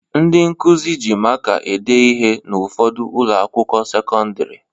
Ndị nkụzi ji maka ede ihe n'ụfọdụ ụlọakwụkwọ sekọndịrị